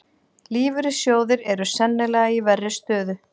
Lífeyrissjóðir eru sennilega í verri stöðu